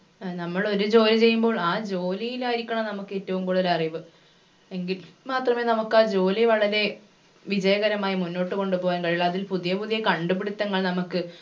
ഏർ നമ്മൾ ഒരു ജോലി ചെയ്യുമ്പോൾ ആ ജോലിയിലായിരിക്കണം നമക്ക് ഏറ്റവും കൂടുതൽ അറിവ് എങ്കിൽ മാത്രമേ നമുക്കാ ജോലി വളരെ വിജയകരമായി മുന്നോട്ട് കൊണ്ട് പോകാൻ കഴിയുള്ളു അതിൽ പുതിയ പുതിയ കണ്ടുപിടിത്തങ്ങൾ നമക്ക്